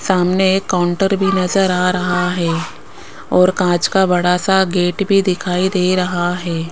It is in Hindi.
सामने एक काउंटर भी नजर आ रहा है और कांच का बड़ा सा गेट भी दिखाई दे रहा है।